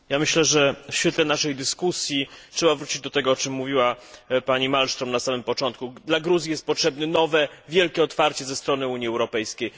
Myślę, że w świetle naszej dyskusji trzeba wrócić do tego, o czym mówiła pani Malmström na samym początku Gruzji jest potrzebne nowe, wielkie otwarcie ze strony Unii Europejskiej.